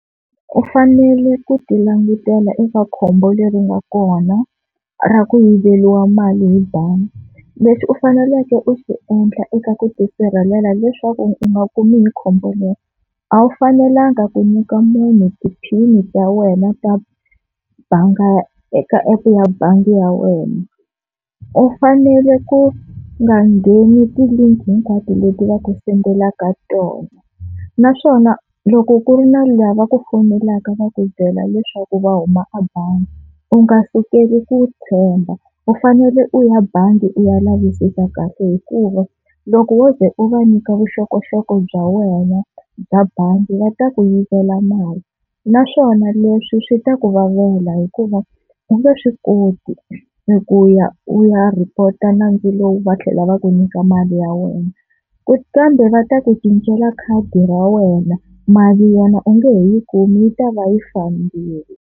U fanele ku ti langutela eka khombo leri nga kona ra ku yiveriwa mali hi bangi, lexi u faneleke u xi endla eka ku ti sirhelela leswaku u nga kumi hi khombo leri a wu fanelanga ku nyika munhu ti-pin-i ta wena ta banga eka app ya bangi ya wena. U fanele ku nga ngheni ti-link hinkwato leti va ku sendelaka tona, naswona loko ku ri na lava va ku fonelaka va ku byela leswaku va huma a bangi u nga sukeli ku tshemba u fanele u ya bangi u ya lavisisa kahle, hikuva loko wo ze u va nyika vuxokoxoko bya wena bya bangi va ta ku yivela mali naswona leswi swi ta ku vavela hikuva u nge swi koti ku ya u ya report a nandzu lowu va tlhela va ku nyika mali ya wena, kambe va ta ku cincela khadi ra wena mali yona u nge he yi kumi yi ta va yi fambile.